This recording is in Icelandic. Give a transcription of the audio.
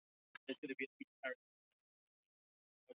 Hann horfði brúnaþungur á strákana og spurði hvað þeir vildu.